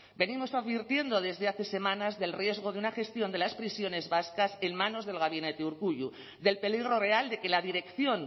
venimos advirtiendo desde hace semanas del riesgo de una gestión de las prisiones vascas en manos del gabinete urkullu del peligro real de que la dirección